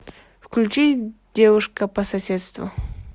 включи девушка по соседству